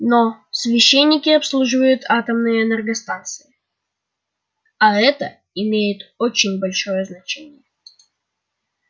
но священники обслуживают атомные энергостанции а это имеет очень большое значение